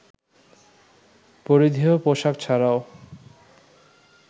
পরিধেয় পোশাক ছাড়াও